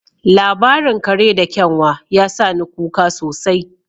Labarin kare da kyanwa ya sa ni kuka sosai